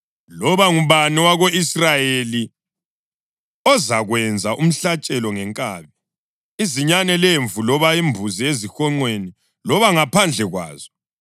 Loba ngubani owako-Israyeli ozakwenza umhlatshelo ngenkabi, izinyane lemvu loba imbuzi ezihonqweni loba ngaphandle kwazo,